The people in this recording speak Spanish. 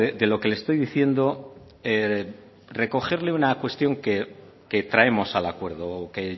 de lo que le estoy diciendo recogerle una cuestión que traemos al acuerdo que